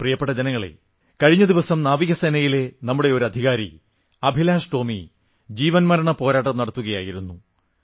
പ്രിയപ്പെട്ട ജനങ്ങളേ കഴിഞ്ഞ ദിവസം നാവികസേനയിലെ നമ്മുടെ ഒരു ഉദ്യോഗസ്ഥൻ അഭിലാഷ് ടോമി ജീവന്മരണപ്പോരാട്ടം നടത്തുകയായിരുന്നു